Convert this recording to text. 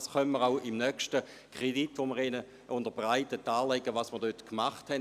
Wir können auch beim nächsten Kredit, den wir Ihnen unterbreiten werden, darlegen, was wir hier getan haben.